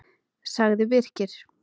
sagði Birkir.